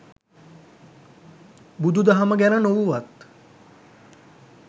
බුදු දහම ගැන නොවුවත්